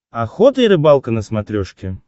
охота и рыбалка на смотрешке